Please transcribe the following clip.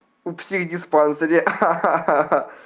в психдиспансере ха-ха